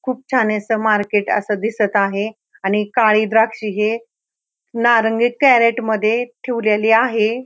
खूप छान अस मारकेट अस दिसत आहे आणि काळे द्राक्षे हे नारंगी कॅरेट मध्ये ठीवलेली आहे.